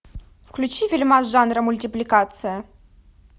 включи фильмас жанра мультипликация